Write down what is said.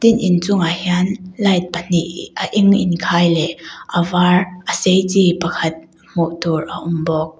in inchungah hian light pahnih a eng inkhai leh a var a sei chi pakhat hmuh tur a awm bawk.